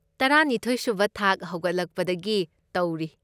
ꯇꯔꯥꯅꯤꯊꯣꯢ ꯁꯨꯕ ꯊꯥꯛ ꯍꯧꯒꯠꯂꯛꯄꯗꯒꯤ ꯇꯧꯔꯤ꯫